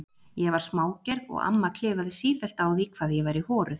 Ég var smágerð og amma klifaði sífellt á því hvað ég væri horuð.